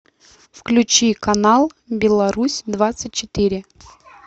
включи канал беларусь двадцать четыре